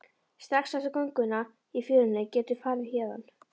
Strax eftir gönguna í fjörunni geturðu farið héðan.